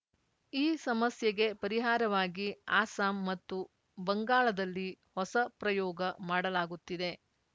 ಈ ಸಮಸ್ಯೆಗೆ ಪರಿಹಾರವಾಗಿ ಅಸ್ಸಾಂ ಮತ್ತು ಬಂಗಾಳದಲ್ಲಿ ಹೊಸ ಪ್ರಯೋಗ ಮಾಡಲಾಗುತ್ತಿದೆ